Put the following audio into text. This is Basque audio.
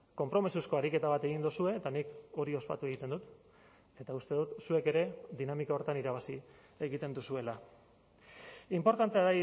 konpromisozko ariketa bat egin duzue eta nik hori ospatu egiten dut eta uste dut zuek ere dinamika horretan irabazi egiten duzuela inportantea